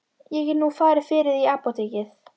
Ég get nú farið fyrir þig í apótekið.